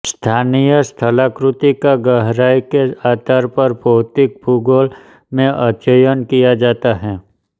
स्थानीय स्थलाकृति का गहराई के आधार पर भौतिक भूगोल में अध्ययन किया जाता है